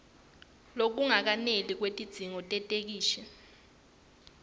lokungakeneli kwetidzingo tetheksthi